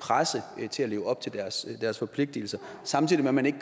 presse til at leve op til deres deres forpligtelser samtidig gør man ikke